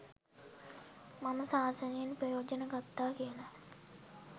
මම ශාසනයෙන් ප්‍රයෝජනය ගත්තා කියලා